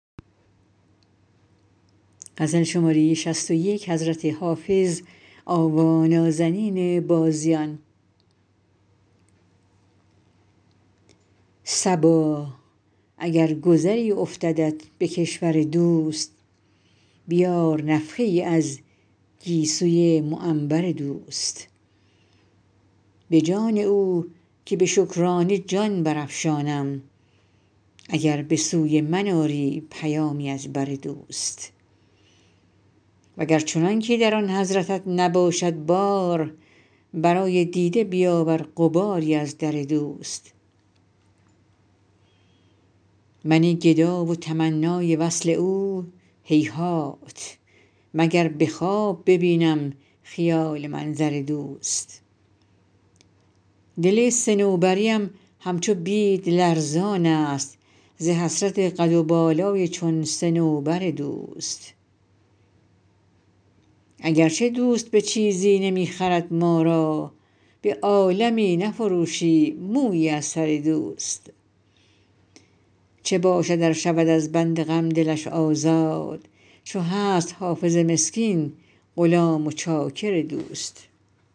صبا اگر گذری افتدت به کشور دوست بیار نفحه ای از گیسوی معنبر دوست به جان او که به شکرانه جان برافشانم اگر به سوی من آری پیامی از بر دوست و گر چنان که در آن حضرتت نباشد بار برای دیده بیاور غباری از در دوست من گدا و تمنای وصل او هیهات مگر به خواب ببینم خیال منظر دوست دل صنوبری ام همچو بید لرزان است ز حسرت قد و بالای چون صنوبر دوست اگر چه دوست به چیزی نمی خرد ما را به عالمی نفروشیم مویی از سر دوست چه باشد ار شود از بند غم دلش آزاد چو هست حافظ مسکین غلام و چاکر دوست